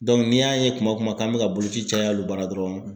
ni y'a ye kuma kan an bɛ ka boloci caya olu bara dɔrɔn.